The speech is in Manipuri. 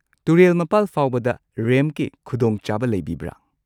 ꯇꯨꯔꯦꯜ ꯃꯄꯥꯜ ꯐꯥꯎꯕꯗ ꯔꯦꯝꯞꯀꯤ ꯈꯨꯗꯣꯡꯆꯥꯕ ꯂꯩꯕꯤꯕ꯭ꯔ?